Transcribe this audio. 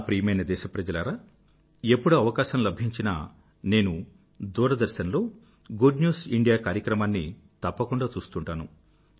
నా ప్రియమైన దేశ ప్రజలారా ఎప్పుడు అవకాశం లభించినా నేను దూరదర్శన్ లో గుడ్ న్యూస్ ఇండియా కార్యక్రమాన్ని తప్పకుండా చూస్తుంటాను